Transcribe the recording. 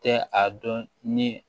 Tɛ a dɔn ni